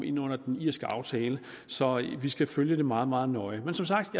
ind under den irske aftale så vi skal følge det meget meget nøje men som sagt